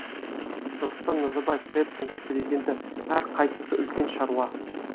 нұрсұлтан назарбаев қр тұңғыш президенті әр қайсысы үлкен шаруа